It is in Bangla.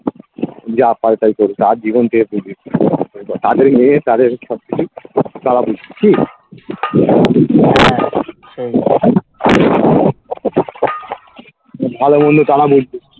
যা পারে তাই করুক তার যার জীবন সে তাদের মেয়ে তাদের সবকিছু তারা বুঝবে কি ভালোমন্দ তারা বুঝবে